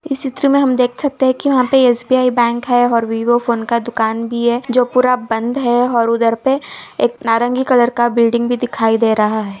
इस चित्र में हम देख सकते है कि यहाँ पे एस_बी_आई बैंक है और विवो फ़ोन का दुकान भी है जो पूरा बंद है और उधर पे एक नारंगी कलर का बिल्डिंग भी दिखाई दे रहा है।